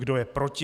Kdo je proti?